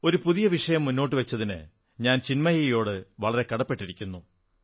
ഒരു പുതിയ വിഷയം മുന്നോട്ടു വച്ചതിന് ഞാൻ ചിന്മയിയോടു വളരെ കടപ്പെട്ടിരിക്കുന്നു